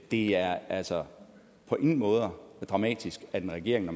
det er altså på ingen måde dramatisk at en regering når